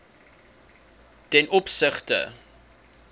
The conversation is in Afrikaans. ten opsigte